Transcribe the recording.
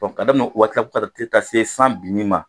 k'a daminɛ o waati la fo ka t'a tile be taa se san binni ma